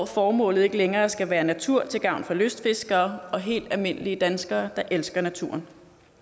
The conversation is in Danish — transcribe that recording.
formålet ikke længere skal være natur til gavn for lystfiskere og helt almindelige danskere der elsker naturen